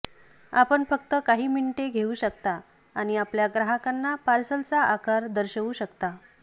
आपण फक्त काही मिनिटे घेऊ शकता आणि आपल्या ग्राहकांना पार्सलचा आकार दर्शवू शकता